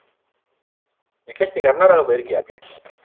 விக்னேஷ் கர்நாடகா போய் இருக்கியா